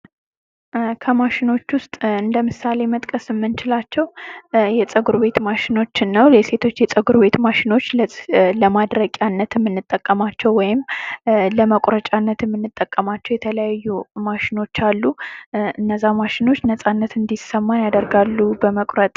ኮሚሽኖች ውስጥ ለምሳሌ መጥቀስ የምንችላቸው የጸጉር ቤት ማሽኖችን ነው የሴቶች የጸጉር ቤት ማሽኖች ልብስ ለማድረቂያነት የምንጠቀማቸው ወይም ለመቁረጫነት የምንጠቀማቸው የተለያዩ ማሽኖች አሉ። እነዛ ማሽኖች ነጻነት እንድሰማ ያደርጋሉ በመቁረጥ።